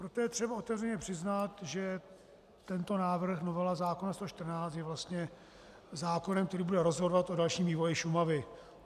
Proto je třeba otevřeně přiznat, že tento návrh, novela zákona 114, je vlastně zákonem, který bude rozhodovat o dalším vývoji Šumavy.